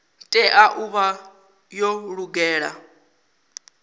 tea u vha yo lugela